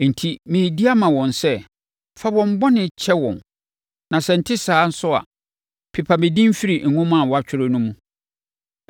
Enti, meredi ama wɔn sɛ, fa wɔn bɔne kyɛ wɔn, na sɛ ɛnte saa nso a, pepa me din firi nwoma a woatwerɛ no mu.”